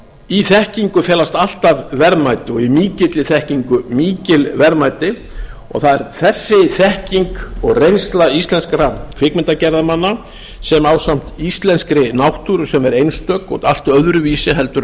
í þekkingu felast alltaf verðmæti og í mikilli þekkingu mikil verðmæti og það er þessi þekking og reynsla íslenskra kvikmyndagerðarmanna sem ásamt íslenskri náttúru sem er einstök og allt öðruvísi heldur en